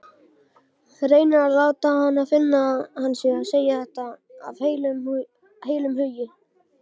Reynir að láta hana finna að hann sé að segja þetta af heilum hug.